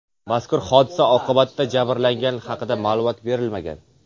Mazkur hodisa oqibatida jabrlanganlar haqida ma’lumot berilmagan.